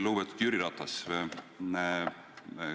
Lugupeetud Jüri Ratas!